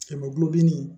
Kɛmɛ gulon